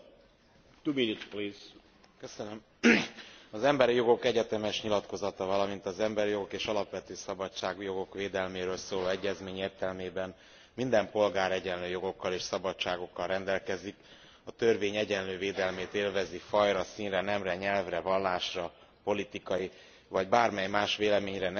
Az Emberi Jogok Egyetemes Nyilatkozata, valamint az emberi jogok és alapvető szabadságjogok védelméről szóló egyezmény értelmében, minden polgár egyenlő jogokkal és szabadságokkal rendelkezik, a törvény egyenlő védelmét élvezi fajra, színre, nemre, nyelvre, vallásra, politikai vagy bármely más véleményre, nemzeti vagy társadalmi eredetre, vagyonra, születésre,